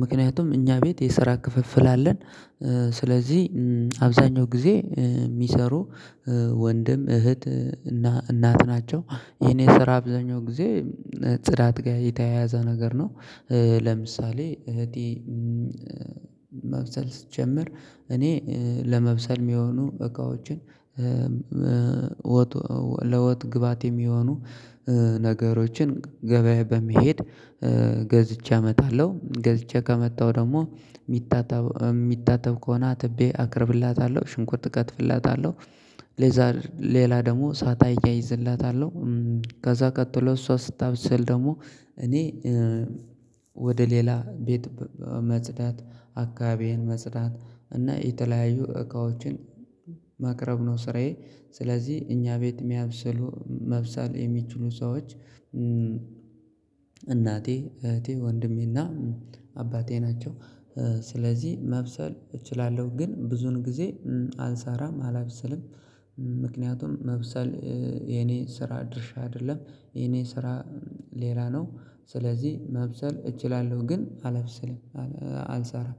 ምክንያቱም እኛ ቤት የስራ ክፍፍል አለን። ስለዚህ አብዛኛው ጊዜ የሚሰሩ ወንድም፣ እህት፣ እናት ናቸው። የኔ ስራ አብዛኛው ጊዜ ጽዳት ጋር የተያያዘ ነገር ነው። ለምሳሌ እህቴ ማብሰል ስትጀምር እኔ ለመብሰል የሚሆኑ እቃዎችን ለወጥ ግባት የሚሆኑ ነገሮችን ገበያ በመሄድ ገዝቼ አመጣለሁ። ገዝቼ ከመጣሁ ደግሞ የሚታተብ የሚታጠብ ከሆነ አጥቤ አቀርብላታለሁ ሽንኩርት እቀትፍላታለሁ ከዛ ሌላ ደግሞ እሳት እያይዝላታለሁ። ከዛ ቀጥሎ እሷ ስታብሰል ደግሞ እኔ ወደ ሌላ ቤት መጽዳት አካባቢዬን መጽዳት እና የተለያዩ እቃዎችን ማቅረብ ነው ስራዬ ስለዚህ እኛ ቤት የሚያብስሉ መብሰል የሚችሉ ሰዎች እናቴ፣ እህቴ፣ ወንድሜና አባቴ ናቸው። ስለዚህ መብሰል እችላለሁ ግን ብዙን ጊዜ አልሰራም፣ አላብሰልም። ምክንያቱም ማብሰል የኔ ስራ ድርሻ አይደለም፤ የኔ ስራ ሌላ ነው ስለዚህ ማብሰል እችላለሁ ግን አላበስልም አልሰራም።